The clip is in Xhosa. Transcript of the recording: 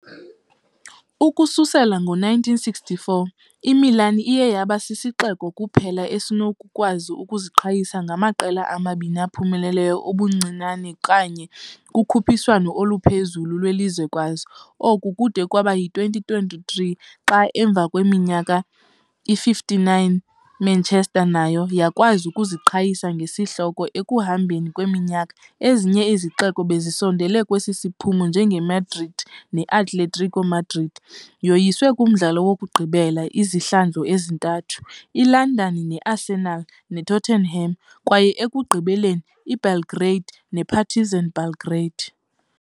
Ukususela ngo -1964, iMilan iye yaba sisixeko kuphela esinokukwazi ukuziqhayisa ngamaqela amabini aphumeleleyo ubuncinane kanye kukhuphiswano oluphezulu lwelizwekazi, oku de kube yi -2023 xa emva kweminyaka engama-59 iManchester nayo yakwazi ukuziqhayisa ngesi sihloko, ekuhambeni kweminyaka ezinye izixeko bezisondele kwesi siphumo njengeMadrid ne -Atletico Madrid yoyisiwe kumdlalo wokugqibela izihlandlo ezithathu, iLondon neArsenal neTottenham kwaye ekugqibeleni iBelgrade nePartizan Belgrade.